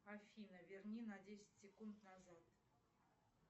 афина верни на десять секунд назад